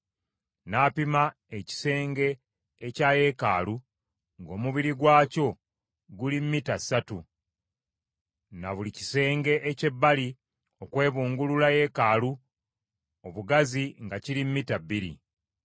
N’apima ekisenge ekya yeekaalu, ng’omubiri gwakyo guli mita ssatu, na buli kisenge eky’ebbali okwebungulula yeekaalu obugazi nga kiri mita bbiri.